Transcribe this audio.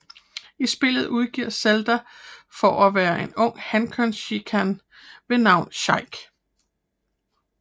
I spillet udgiver Zelda sig for at være en ung hankønssheikah ved navn Sheik